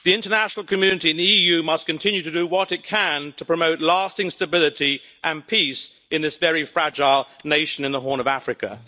The international community and the EU must continue to do what it can to promote lasting stability and peace in this very fragile nation in the Horn of Africa.